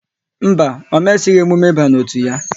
Mba, ọ mesighi emume ịba n'otu ya